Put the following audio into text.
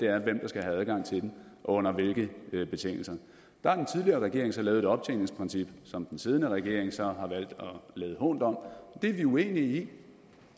er hvem der skal have adgang til den og under hvilke betingelser der har den tidligere regering så lavet et optjeningsprincip som den siddende regering så har valgt at lade hånt om og det er vi uenige i